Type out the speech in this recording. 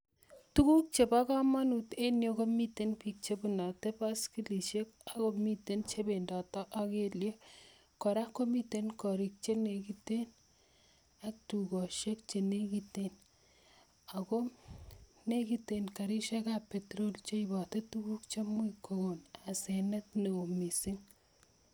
Tuguk chebo kamanut en yu komiten piik che bunoti baskilisiek ak komiten che bendoti ak kelyek, kora komiten gorik che nekiten ak dukosiek che nekiten, ako nekiten garisiekab petrol cheiboti tuguk chemuch kokon asenet ne oo mising.